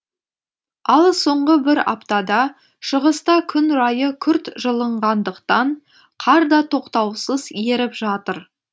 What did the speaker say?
ал соңғы бір аптада шығыста күн райы күрт жылынғандықтан қар да тоқтаусыз еріп жатыр